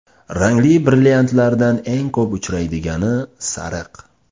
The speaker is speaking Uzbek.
Rangli brilliantlardan eng ko‘p uchraydigani sariq.